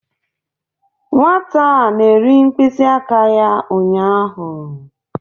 Nwata a na-eri mkpịsị aka ya ụnyaahụ